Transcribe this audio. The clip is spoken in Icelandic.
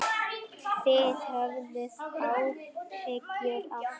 Þið höfðuð áhyggjur af því?